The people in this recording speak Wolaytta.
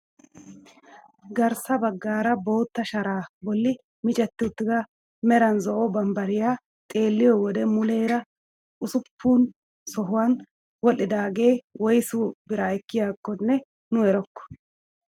Garssa baggaara bootta sharaa bolli micetti uttida meran zo'o bambbariyaa xeelliyoo wode muleera usuppun sohuwaan wodhdhidaagee woysi biraa ekkiyaakonne nu erokko.